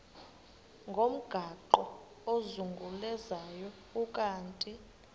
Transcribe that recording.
ngomgaqo ozungulezayo ukanti